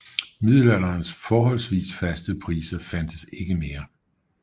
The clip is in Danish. Middelalderens forholdsvis faste priser fandtes ikke mere